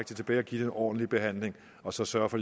det tilbage og give det en ordentlig behandling og så sørge for